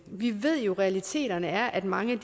vi ved jo at realiteten er at mange